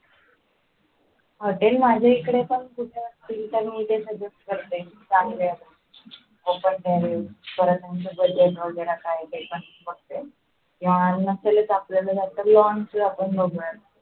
हा ते माझ्याकडे पण कुठे open terrace परत यांचा budget काय ते बघते किव नसेलच आपल तर lawn च बघूया